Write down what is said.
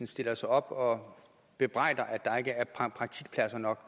stiller sig op og bebrejder at der ikke er praktikpladser nok